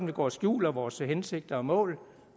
vi går og skjuler vores hensigter og mål